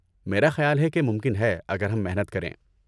میرا خیال ہے کہ ممکن ہے اگر ہم محنت کریں۔